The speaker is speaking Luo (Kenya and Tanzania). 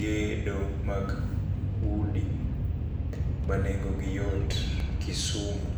gedo mag udi ma nengo gi yot Kisumu.